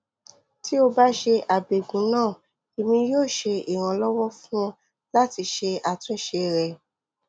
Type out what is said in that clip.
ti o ba ṣe abẹgun naa emi yoo ṣe iranlọwọ fun ọ lati ṣe atunṣe rẹ